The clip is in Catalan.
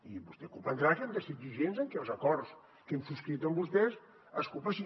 i vostè deu comprendre que hem de ser exigents amb que els acords que hem subscrit amb vostès es compleixin